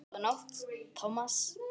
Góða nótt, Thomas